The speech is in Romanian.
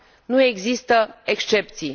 Nu există excepții.